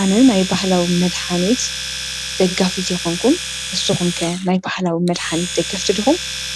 ኣነ ናይ ባህላዊ መድሓኒት ደጋፊት ኣይኮንኩን ንስኹም ከ ናይ ባህላዊ መድሓኒት ደገፍቲ ዲኹም?